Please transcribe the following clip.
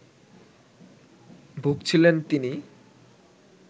ভুগছিলেন তিনি